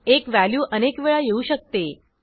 एक व्हॅल्यू अनेक वेळा येऊ शकते